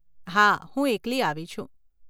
હા, હું એકલી આવી છું.